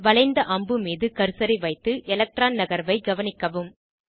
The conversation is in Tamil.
வளைந்த அம்பு மீது கர்சரை வைத்து எலக்ட்ரான் நகர்வை கவனிக்கவும்